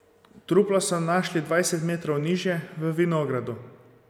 Truplo so našli dvajset metrov nižje, v vinogradu.